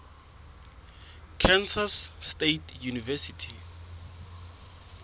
kansas state university